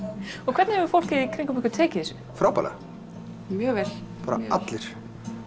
hvernig hefur fólkið í kringum ykkur tekið þessu frábærlega mjög vel bara allir